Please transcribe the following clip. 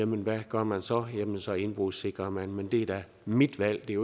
men hvad gør man så jamen så indbrudssikrer man men det er da mit valg det er